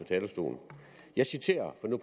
talerstolen jeg citerer nu